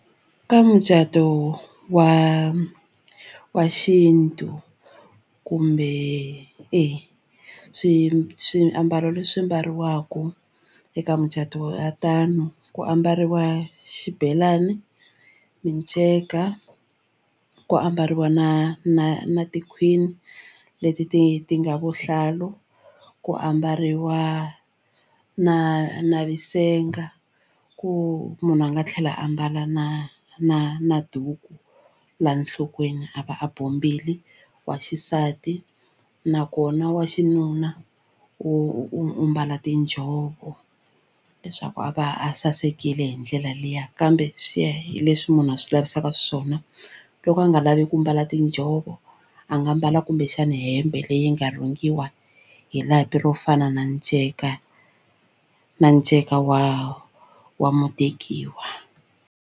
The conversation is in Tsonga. Ka mucato wa wa xintu kumbe e swi swiambalo leswi mbariwaka eka mucato wa tano ku ambariwa xibelani, minceka ku ambariwa na na na tikhwini leti ti ti nga vuhlalu, ku ambariwa na na vusenga, ku munhu a nga tlhela a mbala na na na duku la nhlokweni a va a bombile wa xisati nakona wa xinuna u u mbala tinjhovo leswaku a va a sasekile hi ndlela liya kambe swi ya hi leswi munhu a swi lavisaka swona u loko a nga lavi ku mbala tinjhovo a nga mbala kumbexana hembe leyi nga rhungiwa hi lapi ro fana na nceka na nceka wa wa mutekiwa.